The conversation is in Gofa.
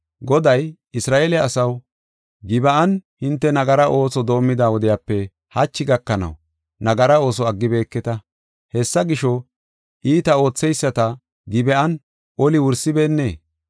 Goday, “Isra7eele asaw, Gib7an hinte nagara ooso doomida wodiyape, hachi gakanaw nagara ooso aggibeketa. Hessa gisho, iita ootheyisata Gib7an oli wursibeenee?